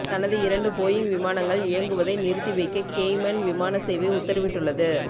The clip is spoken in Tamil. தனது இரண்டு போயிங் விமானங்கள் இயக்குவதை நிறுத்தி வைக்க கேய்மன் விமான சேவை உத்தரவிட்டுள்ளது